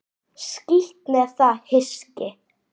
Skítt með það hyski.